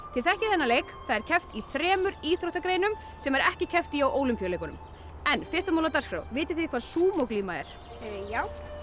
þið þekkið þennan leik það er keppt í þremur íþróttagreinum sem er ekki keppt í á Ólympíuleikunum en fyrsta mál á dagskrá vitið þið hvað Sumo glíma er já